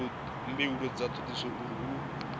mbuelo dza thodisiso uri hu